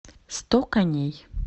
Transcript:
сто коней